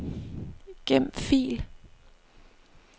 Gem fil.